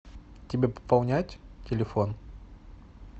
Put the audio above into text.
тебе пополнять телефон